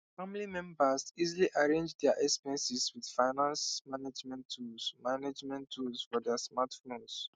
family members easily arrange dia expenses with finance management tools management tools for dia smartphones